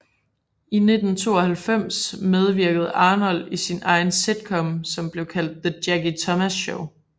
I 1992 medvirkede Arnold i sin egen sitcom som blev kaldt The Jackie Thomas Show